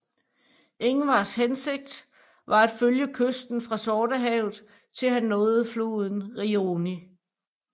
Ingvars hensigt var at følge kysten fra Sortehavet til han nåede floden Rioni